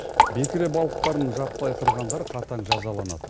бекіре балықтарын жаппай қырғандар қатаң жазаланады